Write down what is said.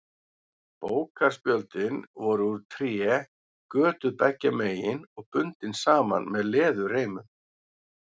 Bókarspjöldin voru úr tré, götuð beggja megin og bundin saman með leðurreimum.